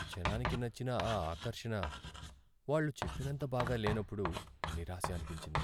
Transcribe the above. జనానికి నచ్చిన ఆ ఆకర్షణ వాళ్ళు చెప్పినంత బాగా లేనప్పుడు నిరాశ అనిపించింది.